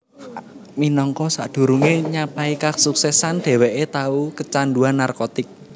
Minangka sadurungé nyapai kasuksesan dheweké tau keecanduan narkotik